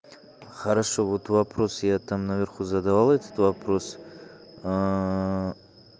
хорошо вот вопрос я там наверху задавал этот вопрос